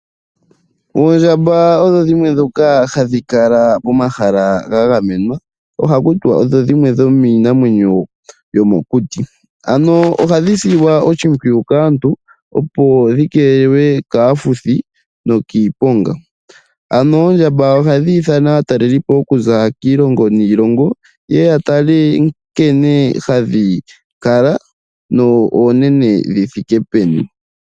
Oondjamba odho dhimwe dhoka hadhi kala momahala ga gamenwa. Ohaku tiwa odho dhimwe dhomiinamwenyo yomokuti. Ano ohadhi silwa oshimpwiyu kaantu, opo dhi keelelwe kaafuthi nokiiponga. Ano oondjamba ohadhi ithana aatalelipo okuza kiilonga niilongo ye ye, ya tale nkene hadhi kala no oonene dhi thike peni.